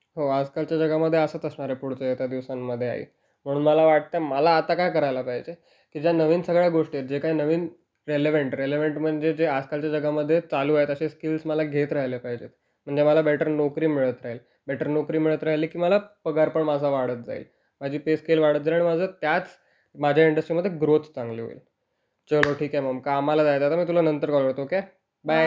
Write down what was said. हो, आजकालच्या जगामध्ये असंच असणार आहे पुढच्या येत्या दिवसांमध्ये आई. म्हणून मला वाटतं, मला आता काय करायला पाहिजे, ज्या नवीन सगळ्या गोष्टी आहेत, जे काही नवीन रिलेव्हन्ट - रिलेव्हन्ट म्हणजे जे आजकालच्या जगामध्ये चालू आहेत असे स्किल्स मला घेत राहिले पाहिजे म्हणजे मला बेटर नोकरी मिळत राहील. बेटर नोकरी मिळत राहिली की मला पगार पण माझा वाढत जाईल. माझी पे स्केल वाढत जाईल आणि माझी त्याच माझ्या इंडस्ट्रीमध्ये ग्रोथ चांगली होईल. चलो, ठीक आहे मम, कामाला जायला लागेल, मी तुला नंतर कॉल करेन, ओके. बाय.